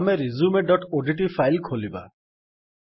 ଆମେ resumeଓଡିଟି ଫାଇଲ୍ ଖୋଲିବା